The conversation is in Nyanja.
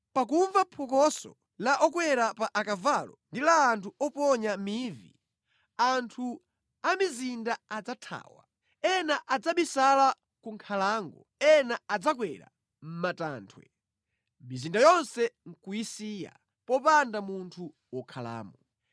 Pakumva phokoso la okwera pa akavalo ndi la anthu oponya mivi, anthu a mʼmizinda adzathawa. Ena adzabisala ku nkhalango; ena adzakwera mʼmatanthwe mizinda yonse nʼkuyisiya; popanda munthu wokhalamo.